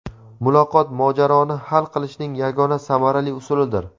Muloqot mojaroni hal qilishning yagona samarali usulidir.